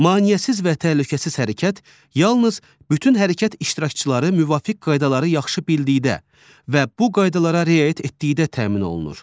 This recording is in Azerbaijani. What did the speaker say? Maneəsiz və təhlükəsiz hərəkət yalnız bütün hərəkət iştirakçıları müvafiq qaydaları yaxşı bildikdə və bu qaydalara riayət etdikdə təmin olunur.